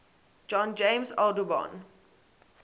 john james audubon